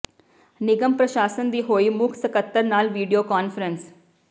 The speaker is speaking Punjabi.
ਨਿਗਮ ਪ੍ਰਸ਼ਾਸਨ ਦੀ ਹੋਈ ਮੁੱਖ ਸਕੱਤਰ ਨਾਲ ਵੀਡੀਓ ਕਾਨਫ਼ਰੰਸ